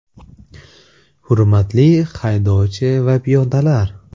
“Hurmatli haydovchi va piyodalar!